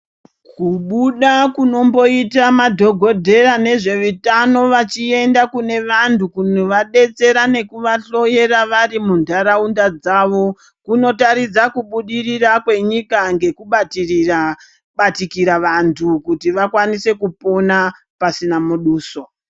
Kubuda kunomboita madhokodheya nezveutano vachienda kune vantu kunovadetsera nekuvahloyera vari muntaraunda dzavo kunotaridza kubudirira kwenyika ngekubatikira vantu kuti vakwanise kupona pasina muduso.